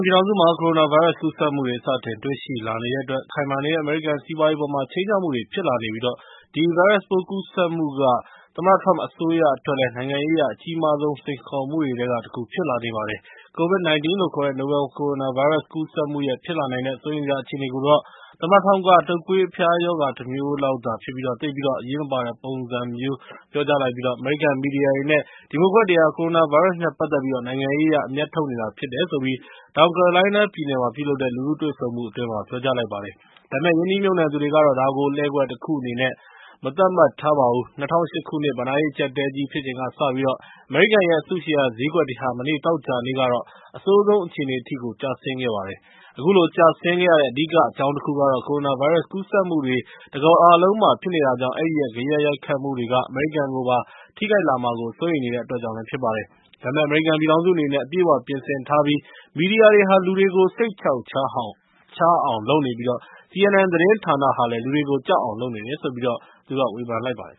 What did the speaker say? ပြည်ထောင်စုမှာ ကိုရိုနာဗိုင်းရပ်စ် ကူးစက်မှုတွေ စတင်တွေ့ရှိလာနေတဲ့အတွက် ခိုင်မာနေတဲ့ အမေရိကန်စီးပွားရေးအပေါ် ခြိမ်းခြောက်မှုတွေ ဖြစ်လာနေပြီး ဒီဗိုင်းရပ်စ်ပိုး ကူးစက်မှုက သမ္မတ Trump အစိုးရအတွက်တော့ နိုင်ငံရေးအရ အကြီးမားဆုံး စိန်ခေါ်မှုတွေထဲက တခု ဖြစ်လာနေပါတယ်။ COVID - 19 လို့ခေါ်တဲ့ နိုဘယ်လ်ကိုရိုနာဗိုင်းရပ်စ် ကူးစက်မှုရဲ့ ဖြစ်လာနိုင်တဲ့ စိုးရိမ်စရာ အခြေအနေကိုတော့ သမ္မတ Trump က တုပ်ကွေးအဖျားရောဂါ တမျိုးလောက်သာဖြစ်ပြီး သိပ်ပြီးတော့ အရေးမပါတဲ့ပုံမျိုးနဲ့ ပြောကြားလိုက်ပြီး အမေရိကန် မီဒီယာတွေနဲ့ ဒီမိုကရက်တွေဟာ ကိုရိုနာဗိုင်းရပ်စ်နဲ့ ပတ်သက်ပြီး နိုင်ငံရေးအရ အမြတ်ထုတ်နေတာ ဖြစ်တယ်လို့ တောင်ကယ်ရိုလိုင်းနားပြည်နယ်မှာ ပြုလုပ်တဲ့ လူထုတွေ့ဆုံပွဲမှာ ပြောကြားလိုက်ပါတယ်။ ဒါပေမယ့် ရင်းနှီးမြှုပ်နှံသူတွေကတော့ ဒါကို လှည့်ကွက်တခုအနေနဲ့ မသတ်မှတ်ပါဘူး။ ၂၀၀၈ ခုနှစ် ဘဏ္ဍာရေး အကျပ်အတည်းကြီး ဖြစ်ချိန်ကစပြီး အမေရိကန်ရဲ့ အစုရှယ်ယာဈေးကွက်တွေဟာ မနေ့ သောကြာနေ့က အဆိုးဆုံးအခြေအနေထိကို ကျဆင်းခဲ့ပါတယ်။ အခုလို ကျဆင်းခဲ့ရတဲ့ အဓိက အကြောင်းတခုကတော့ ကိုရိုနာဗိုင်းရပ်စ် ကူးစက်မှုတွေဟာ တကမ္ဘာလုံးမှာ ဖြစ်နေတာကြောင့် အဲဒီရဲ့ ဂယက်ရိုက်ခတ်မှုတွေက အမေရိကန်ကိုပါ ထိခိုက်လာမှာကို စိုးရိမ်နေတဲ့အတွက် ဖြစ်ပါတယ်။ ဒါပေမယ့် အမေရိကန်ပြည်ထောင်စုအနေနဲ့ အပြည့်အ၀ ပြင်ဆင်ထားပြီး မီဒီယာတွေဟာ လူတွေကို စိတ်ချောက်ချားအောင် လုပ်နေပြီး CNN သတင်းဌာနဟာ လူတွေကို ကြောက်အောင်လုပ်နေတယ်လို့ ဝေဖန်လိုက်ပါတယ်